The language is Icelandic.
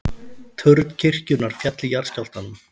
Turn kirkjunnar féll í jarðskjálftanum